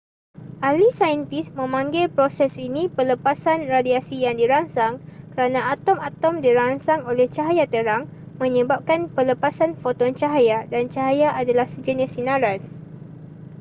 ahli saintis memanggil proses ini pelepasan radiasi yang dirangsang kerana atom-atom dirangsang oleh cahaya terang menyebabkan pelepasan foton cahaya dan cahaya adalah sejenis sinaran